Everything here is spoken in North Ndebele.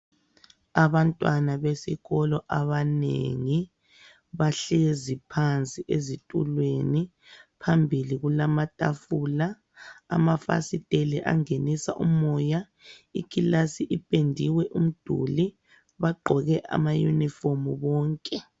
Abantwana besikolo abanengi bahlezi phansi ezitulweni, phambili kulamatafula. Amafasiteli angenisa umoya, ikilasi ipendiwe umduli. Bagqoke amayunifomu bonke.